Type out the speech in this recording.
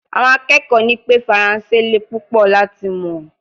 Awon akekoo ni pe faranse le pupo lati mo